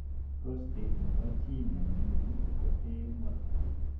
Prostate nebo chii nemingin koteen walnut